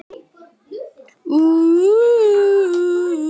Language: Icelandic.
Malena, stilltu tímamælinn á fimmtíu og níu mínútur.